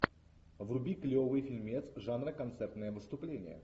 вруби клевый фильмец жанра концертное выступление